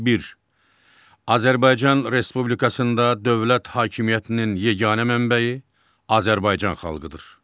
Bir, Azərbaycan Respublikasında dövlət hakimiyyətinin yeganə mənbəyi Azərbaycan xalqıdır.